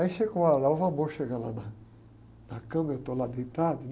Aí chega uma hora lá, o chega lá na, na cama, eu estou lá deitado, né?